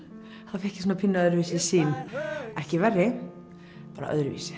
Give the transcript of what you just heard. þá fékk ég pínu öðruvísi sýn ekki verri bara öðruvísi